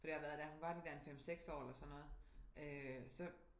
For det har været da hun var de der en 5 6 år eller sådan noget øh så